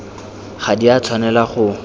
ga di a tshwanelwa go